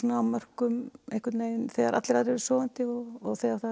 á mörkum þegar allir aðrir eru sofandi og þegar